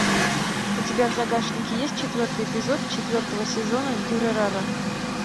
у тебя в загашнике есть четвертый эпизод четвертого сезона дюрарара